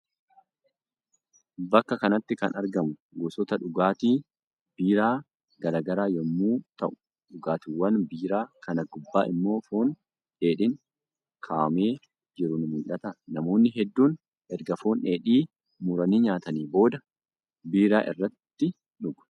Bakka kanatti kan argamu gosoota dhugaatii biiraa gara garaa yommuu ta'u, dhugaatiiwan biiraa kana gubbaa immoo foon dheedhiin kaawwamee jiru ni mul'ata. Namoonni hedduun erga foon dheedhii muranii nyaatanii booda biiraa irratti dhugu.